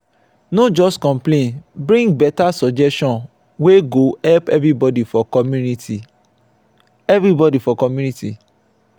no just complain bring better suggestion wey go help everybody for community. everybody for community.